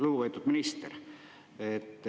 Lugupeetud minister!